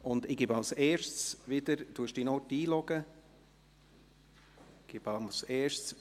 Zuerst gebe ich wieder dem Kommissionssprecher das Wort.